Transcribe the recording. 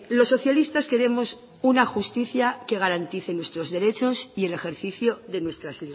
los socialistas queremos una justicia que garantice nuestros derechos y el ejercicio de nuestras